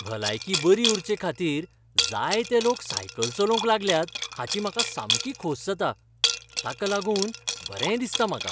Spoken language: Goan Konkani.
भलायकी बरी उरचेखातीर जायते लोक सायकल चलोवंक लागल्यात हाची म्हाका सामकी खोस जाता. ताका लागून बरें दिसता म्हाका.